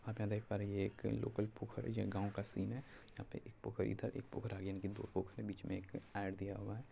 आप यहां पर देख पा रहे है यह एक लोकल पोखर है यह एक गांव का सीन है यहाँ पे एक पोखर था एक पोखर आगे यानि दो पोखर बीच में एक आर दिया हुआ है।